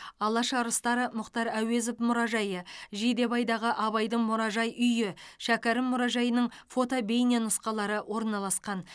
алаш арыстары мұхтар әуезов мұражайы жидебайдағы абайдың мұражай үйі шәкәрім мұражайының фото бейненұсқалары орналасқан